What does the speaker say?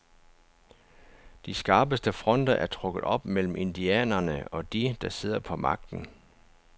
De skarpeste fronter er trukket op mellem indianerne og de, der sidder på magten.